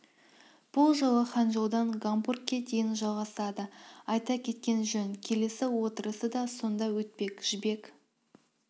бұл жол ханчжоудан гамбургке дейін жалғасады айта кеткен жөн келесі отырысы да сонда өтпек жібек